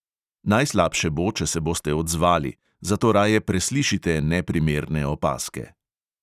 Najslabše bo, če se boste odzvali, zato raje preslišite neprimerne opazke.